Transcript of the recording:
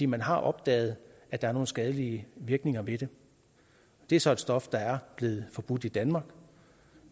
man har opdaget at der er nogle skadelige virkninger ved det det er så et stof der er blevet forbudt i danmark